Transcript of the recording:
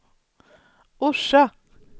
Orsa